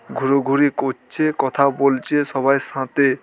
ঘুরোঘুরি করছে কথা বলছে সবাই সাথে।